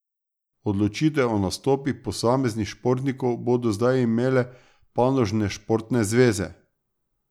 Odločitev o nastopih posameznih športnikov bodo zdaj imele panožne športne zveze.